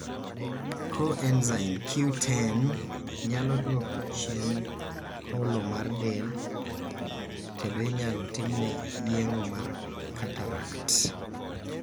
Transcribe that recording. Coenzyme Q10 nyalo duoko chien holo mar del, kendo inyalo timne yeng'o mar cataract.